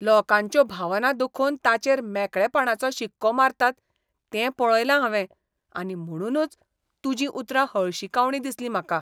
लोकांच्यो भावना दुखोवन ताचेर मेकळेपणाचो शिक्को मारतात तें पळयलां हांवें आनी म्हणूनच तुजीं उतरां हळशिकावणीं दिसलीं म्हाका.